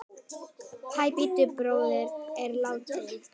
Hann Bubbi bróðir er látinn.